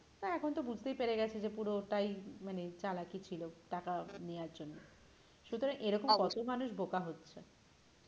আর এখন তো বুঝতেই পেরে গেছি যে পুরোটায় মানে চালাকি ছিল টাকা নেওয়ার জন্য সুতরাং এরকম কত মানুষ বোকা হচ্ছে